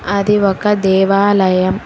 అది ఒక దేవాలయం.